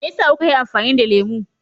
Me yasa kuka yi amfani da lemu?